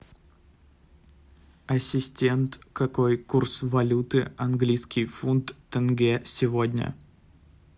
ассистент какой курс валюты английский фунт тенге сегодня